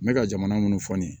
N bɛ ka jamana minnu fɔ nin ye